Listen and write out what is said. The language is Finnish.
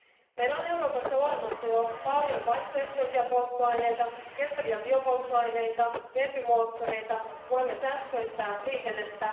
Meillä on Euroopassa olemassa jo paljon vaihtoehtoisia polttoaineita, kestäviä biopolttoaineita, vetymoottoreita ja voimme sähköistää liikennettä.